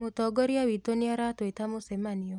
Mũtongoria witũ nĩaratũita mũcemanio